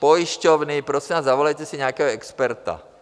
Pojišťovny, prosím vás, zavolejte si nějakého experta.